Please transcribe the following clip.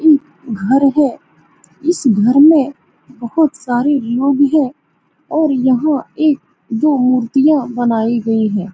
यह घर है इस घर में बहोत सारे लोग हैं और यहाँ एक दो मूर्तियाँ बनाई गई हैं।